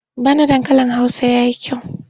Bana dankalin Hausa ya yi kyau.